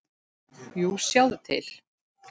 Jú, sjáðu til.